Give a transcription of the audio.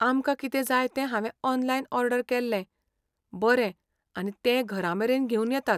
आमकां कितें जाय ते हांवें ऑनलायन ऑर्डर केल्लें बरें आनी ते घरामेरेन घेवन येतात